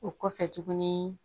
O kɔfɛ tuguni